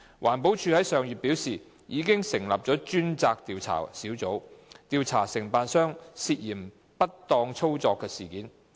環保署於上月表示，已成立專責調查小組，調查承辦商涉嫌不當操作的事件。